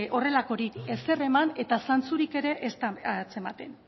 horrelakorik ezer eman eta zantzurik ere ez da antzematen